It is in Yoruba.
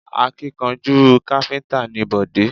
Akíkanjú káfíntà ni Bọ̀dé